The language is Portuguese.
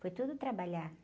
Foi tudo trabalhar.